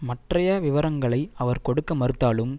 மற்றய விவரங்களை அவர் கொடுக்க மறுத்தாலும்